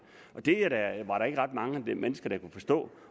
det var der ikke ret mange mennesker der kunne forstå